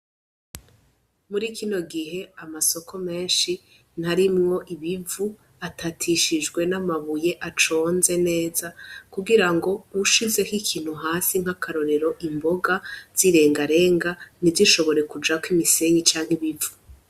Muri ikino gihe amasoko menshi ntarimwo ibivu atatishijwe n'amabuye aconze neza kugira ngo wushizeho ikintu hasi nk'akarorero imboga zirengarenga nti zishobore kujako imisenyi canke ibivu.